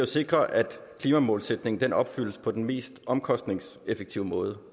sikre at klimamålsætningen opfyldes på den mest omkostningseffektive måde